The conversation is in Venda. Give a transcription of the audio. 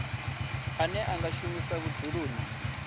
ane a nga shumiswa vhudzuloni